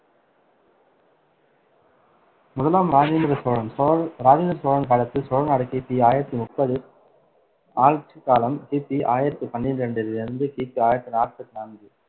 முதலாம் இராஜேந்திர சோழன் சோழ~ இராஜேந்திர சோழன் காலத்தில் சோழநாடு கி பி ஆயிரத்தி முப்பது ஆட்சிக்காலம்கி பி ஆயிரத்தி பன்னிரெண்டிலிருந்து கி பி ஆயிரத்தி நாப்பத்தி நான்கு